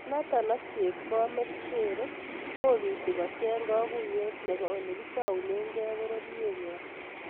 Nathan ak chepkomet sheroo kobiti kocheng kaguiyet nebo olekitaunegei pororyet nywa